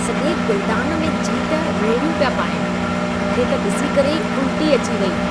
सॼे गुलदान में जीत रेड़िहियूं पिया पाईनि। मूंखे त ॾिसी करे ई उल्टी अची वई।